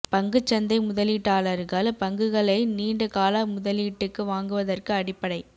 பங்குச் சந்தை முதலீட்டாளர்கள் பங்குகளை நீண்ட கால முதலீட்டுக்கு வாங்குவதற்கு அடிப்படை